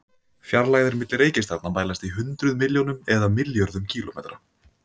Fjarlægðir milli reikistjarnanna mælast í hundruð milljónum eða milljörðum kílómetra.